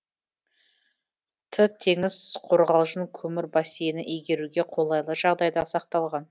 т теңіз қорғалжын көмір бассейні игеруге қолайлы жағдайда сақталған